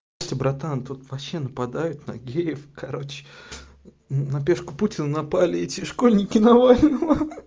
братан тут вообще нападают нагиев короче на печку путина напали эти школьники навального